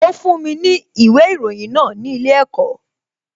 Ó fún mi ní ìwé ìròyìn náà ní ilé ẹ̀kọ́